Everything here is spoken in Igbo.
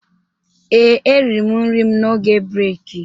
Ee, eriri m nri m n'oge breki